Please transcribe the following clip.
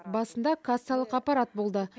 басында кассалық аппарат болды